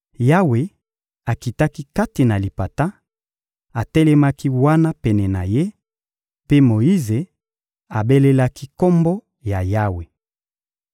Yawe akitaki kati na lipata, atelemaki wana pene na ye, mpe Moyize abelelaki Kombo ya Yawe.